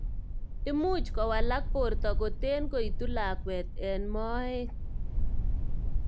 imuch kowalak borto kotee koitu lakwet eng moet